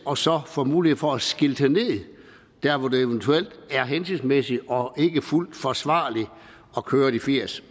og så får mulighed for at skilte ned der hvor det eventuelt er hensigtsmæssigt og ikke fuldt forsvarligt at køre de firs